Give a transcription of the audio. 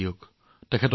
ই হৃদয়স্পৰ্শী আছিল